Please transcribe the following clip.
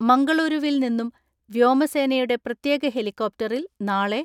മംഗളൂരുവിൽ നിന്നും വ്യോമസേനയുടെ പ്രത്യേക ഹെലികോപ്റ്ററിൽ നാളെ